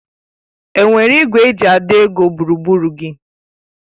Enwere ìgwè eji àdọ́ ego gburugburu gị?: